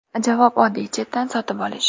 Javob oddiy – chetdan sotib olish.